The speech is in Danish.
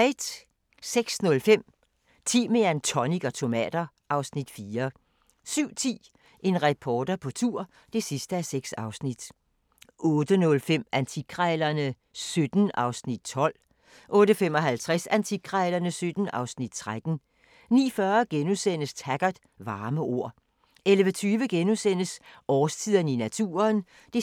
06:05: Timian, tonic og tomater (Afs. 4) 07:10: En reporter på tur (6:6) 08:05: Antikkrejlerne XVII (Afs. 12) 08:55: Antikkrejlerne XVII (Afs. 13) 09:40: Taggart: Varme ord * 11:20: Årstiderne i naturen (2:2)*